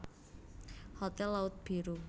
Hotel Laut Biru